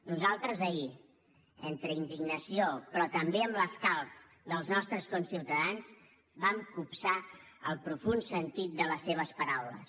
nosaltres ahir entre indignació però també amb l’escalf dels nostres conciutadans vam copsar el profund sentit de les seves paraules